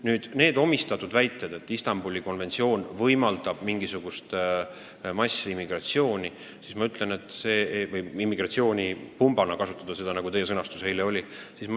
Nüüd nendest väidetest, et Istanbuli konventsioon võimaldab mingisugust massiimmigratsiooni, et seda saab kasutada immigratsioonipumbana, nagu teie sõnastus eile oli.